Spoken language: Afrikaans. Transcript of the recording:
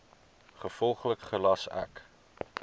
gevolglik gelas ek